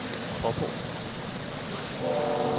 Faaborg